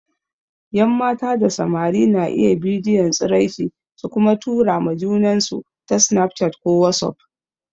Yan mata da samari na iya bidiyon tsiraici su kuma tura ma junansu ta snaf chat ko wasuf.